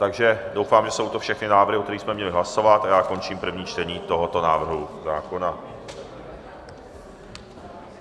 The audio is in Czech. Takže doufám, že jsou to všechny návrhy, o kterých jsme měli hlasovat, a já končím první čtení tohoto návrhu zákona.